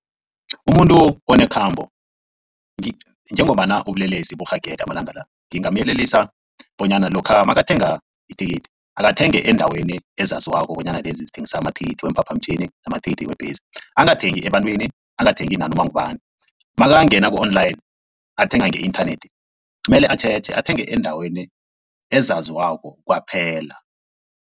Umuntu onekhambo njengombana ubulelesi barhagele amalanga la ngingamyelelisa bonyana lokha makathenga ithikithi akathenge endaweni ezaziwako bonyana lezi zithengisa amathikithi weemphaphamtjhini, amathikithi webhesi. Angathengi ebantwini angathengi nanoma ngubani nakangena ku-online athenga nge-inthanethi mele atjheje athenge endaweni ezaziwako kwaphela.